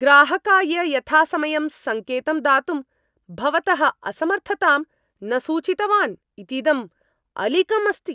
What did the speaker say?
ग्राहकाय यथासमयं सङ्केतं दातुं भवतः असमर्थतां न सूचितवान् इतीदम् अलीकम् अस्ति।